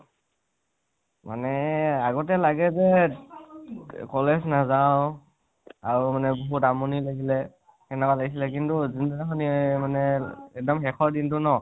মানে আগতে লাগে যে college নাজাও আৰু মানে বহুত আমনি লাগিলে তেনেকুৱা লাগিছিলে । কিন্তু জোনদিনাখন মানে এক্দম শেষৰ দিনতো ন